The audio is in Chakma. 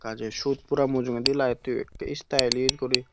gajey sut pora mujungedi laittoyo ekkey stylish guri.